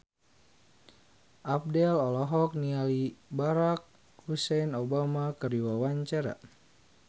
Abdel olohok ningali Barack Hussein Obama keur diwawancara